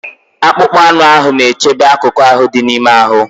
Akpụkpọ anụ ahụ na-echebe akụkụ ahụ dị n'ime ahụ.